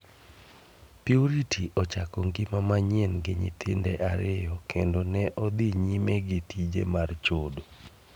Purity ochako ngima manyien gi nyithinde ariyo kendo ne odhi nyime gi tije mar chodo.